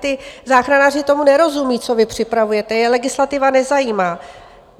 Ti záchranáři tomu nerozumí, co vy připravujete, je legislativa nezajímá.